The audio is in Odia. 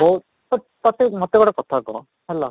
ବହୁତ ତୋତେ ମୋତେ ଗୋଟେ କଥା କହ ହେଲା